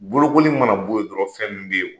Bolokoli mana bɔ yen dɔrɔn fɛn min bɛ yen